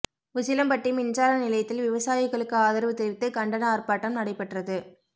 உசிலம்பட்டி மின்சார நிலையத்தில் விவசாயிகளுக்கு ஆதரவு தெரிவித்து கண்டன ஆா்ப்பாட்டம் நடைபெற்றது